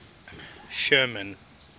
sherman